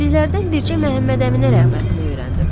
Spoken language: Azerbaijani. Sizlərdən bircə Məhəmməd Əminə rəğbətini öyrəndim.